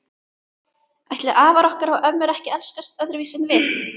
Ætli afar okkar og ömmur hafi elskast öðruvísi en við?